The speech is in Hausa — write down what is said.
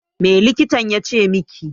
Me likitan ya ce miki?